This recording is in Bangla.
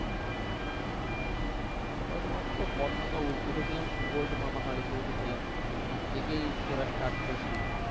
আমরা তোমার তো প্রথমে উঠেছিলাম ওল্ড মানালি তে উঠেছিলাম ওখান থেকেই ঘোরা start করেছিলাম